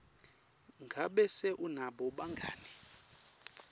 ngabe se unabo bangani